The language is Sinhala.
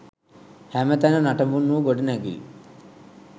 හැමතැන නටඹුන් වූ ගොඩනැගිලි